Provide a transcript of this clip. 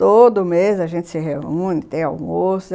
Todo mês a gente se reúne, tem almoço.